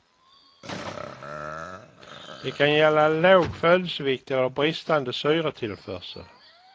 Det kan gälla låg födelsevikt eller bristande syretillförsel.